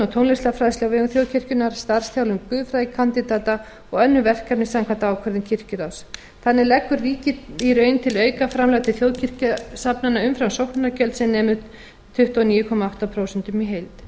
tónlistarfræðslu á vegum þjóðkirkjunnar starfsþjálfun guðfræðikandídata og önnur verkefni samkvæmt ákvörðun kirkjuráðs þannig leggur ríkið í raun til aukaframlög til þjóðkirkjusafnaða umfram sóknargjöld sem nema tuttugu og níu komma átta prósent í